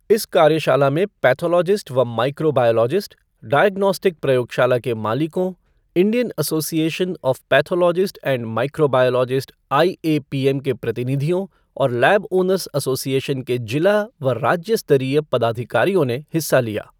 इस कार्यशाला में पैथोलॉजिस्ट व माइक्रोबायोलॉजिस्ट, डायग्नोस्टिक प्रयोगशाला के मालिकों, Indian association of pathologist and microbiologist IAPM के प्रतिनिधियों और लैब ओनर्स एसोसिएशन के जिला व राज्य स्तरीय पदाधिकारियों ने हिस्सा लिया।